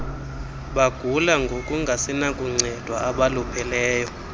bagula ngokungasenakuncedwa abalupheleyo